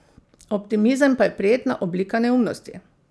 Optimizem pa je prijetna oblika neumnosti.